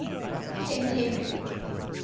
king henry